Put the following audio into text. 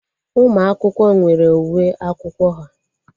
Ụmụ akwụkwọ nwere uwe akwụkwọ ha